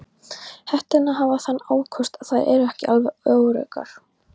Hetturnar hafa þann ókost að þær eru ekki alveg öruggar.